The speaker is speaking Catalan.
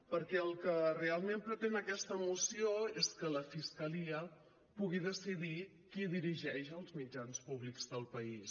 perquè el que realment pretén aquesta moció és que la fiscalia pugui decidir qui dirigeix els mitjans públics del país